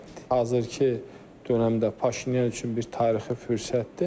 Hazırki dönəmdə Paşinyan üçün bir tarixi fürsətdir.